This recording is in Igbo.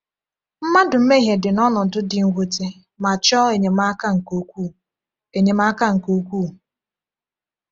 Mmadụ mmehie dị n’ọnọdụ dị mwute ma chọọ enyemaka nke ukwuu. enyemaka nke ukwuu.